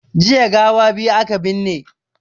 Jiya gawa biyu aka binne